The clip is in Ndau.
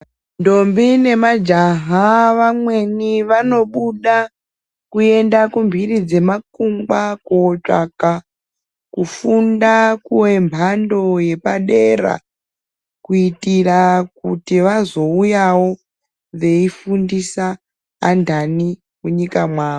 Ndombi nemajaha nevamweni vanobuda kuenda mhuri dzemakungwa kotsvaja kufunda kwemhamdo yepadera kuitira kuti vazouyawo veifundisa andani munyika yavo.